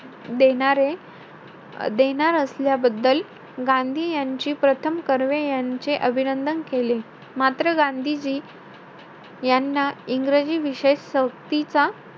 देणारे~ देणार असल्याबद्दल, गांधी यांची प्रथम कर्वे यांची, अभिनंदन केले. मात्र गांधीजी यांना इंग्रजी विषय सक्तीचा,